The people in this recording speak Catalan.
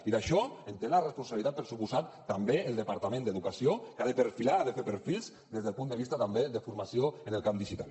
i d’això en té la responsabilitat per descomptat també el departament d’educació que ha de perfilar ha de fer perfils des del punt de vista també de formació en el camp digital